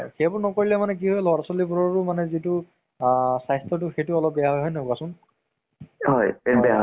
story টো মানে তোমাৰ কি হয় মানে দৃশ্যম আ মোৰ যিটো মানে main role, সেইটো অজয় দেৱগণ ৰ